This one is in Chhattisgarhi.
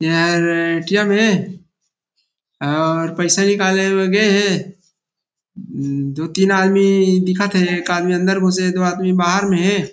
यह ए_टी_एम हे और पैसा निकाले बर गे हे जो तीन आदमी दिखत थे एक आदमी अंदर घुसे हे दो आदमी बाहर में हे।